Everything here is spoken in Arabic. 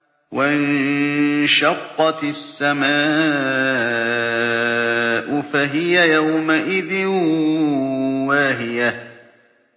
وَانشَقَّتِ السَّمَاءُ فَهِيَ يَوْمَئِذٍ وَاهِيَةٌ